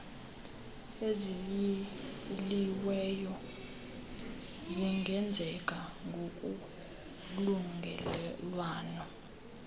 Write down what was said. eziyiliweyo zingenzeka ngokolungelelwano